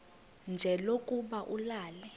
nje lokuba ulale